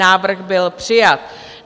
Návrh byl přijat.